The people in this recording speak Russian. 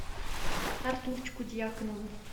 артурчику дьяконову